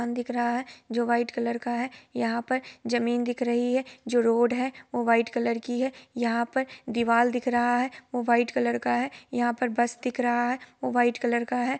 --आन दिख रहा है जो व्हाइट कलर का है| यहा पर जमीन दिख रही है| जो रोड है वो व्हाइट कलर की है| यहा पे दीवार दिख रहा है वो व्हाइट कलर का है| यहा पर बस दिख रही है वो व्हाइट कलर का है।